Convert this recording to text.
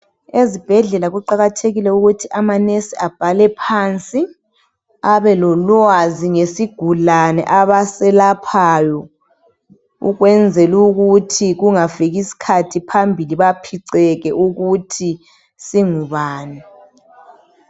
Ezibhedlela kuqakathekile ukuthi amanesi abhale phansi abelolwazi ngesigulane abaselaphayo ukwenzela ukuthi kungafikii sikhathi phambili. baphiceke ukuthi singubani?